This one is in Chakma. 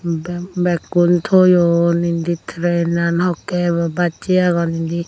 ba begkun toyon indi trenan hokkey ebo bassey agon indi.